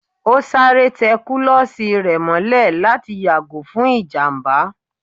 O sárè te kulosí rẹ mòlè latí yagò fún ijamba